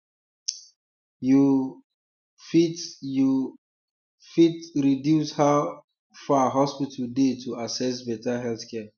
you um fit you um fit reduce how um far hospital dey to access better healthcare